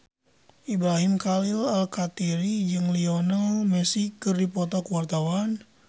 Ibrahim Khalil Alkatiri jeung Lionel Messi keur dipoto ku wartawan